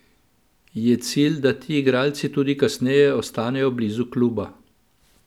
Je cilj, da ti igralci tudi kasneje ostanejo blizu kluba?